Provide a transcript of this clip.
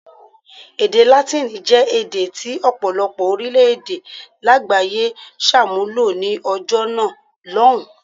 Èdè Látíìnì jẹ́ èdè tí ọ̀pọ̀lọpọ̀ orílẹ̀-èdè lágbàáyé ṣàmúlò ní ọjọ́ náà lọ́hùn-ún.